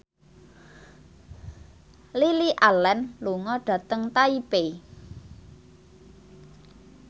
Lily Allen lunga dhateng Taipei